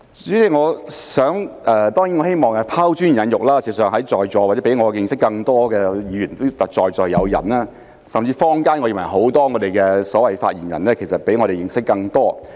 代理主席，當然我希望拋磚引玉，事實上在座也有比我認識更多的議員，甚至我認為坊間有很多所謂的發言人，其實比我們認識更多。